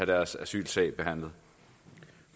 deres asylsag behandlet